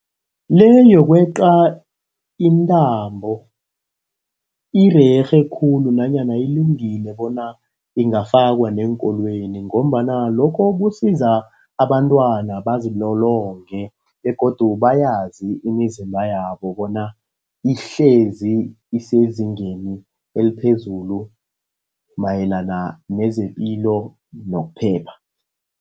Le yokweqa intambo irerhe khulu nanyana ilungile bona ingafakwa neenkolweni, ngombana lokho kusiza abantwana bazilolonge. Begodu bayazi imizimba yabo bona ihlezi isezingeni eliphezulu mayelana nezepilo nokuphepha.